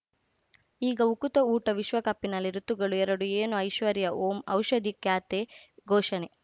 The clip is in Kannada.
ಈಗ ಉಕುತ ಊಟ ವಿಶ್ವಕಪ್‌ನಲ್ಲಿ ಋತುಗಳು ಎರಡು ಏನು ಐಶ್ವರ್ಯಾ ಓಂ ಔಷಧಿ ಖ್ಯಾತೆ ಘೋಷಣೆ